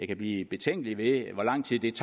kan blive betænkelig ved hvor lang tid det